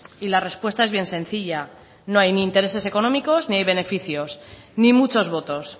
y la respuesta es bien sencilla no hay ni intereses económicos ni hay beneficios ni muchos votos